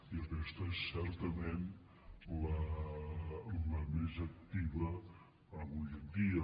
i aquesta és certament la més activa avui en dia